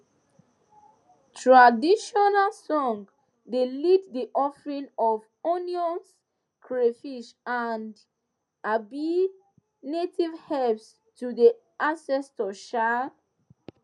traditional song dey lead the offering of onions crayfish and um native herbs to the ancestors um